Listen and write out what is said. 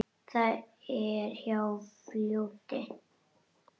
Það er hjá fljóti.